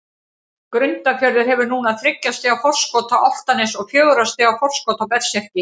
Grundarfjörður hefur núna þriggja stiga forskot á Álftanes og fjögurra stiga forskot á Berserki.